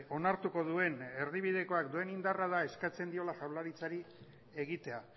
onartuko duen erdibidekoak duen indarrak da eskatzen diola jaurlaritzari egitea